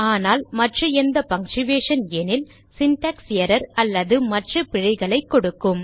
ஆனால் மற்ற எந்த பங்க்சுயேஷன் எனில் சின்டாக்ஸ் எர்ரர் அல்லது மற்ற பிழைகளைக் கொடுக்கும்